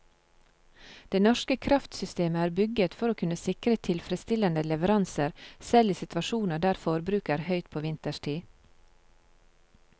Det norske kraftsystemet er bygget for å kunne sikre tilfredsstillende leveranser selv i situasjoner der forbruket er høyt på vinterstid.